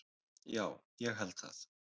Já, ég held það